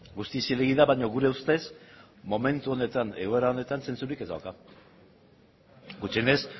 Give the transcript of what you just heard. guztiz zilegi da baina gure ustez momentu honetan egoera honetan zentzurik ez dauka gutxienez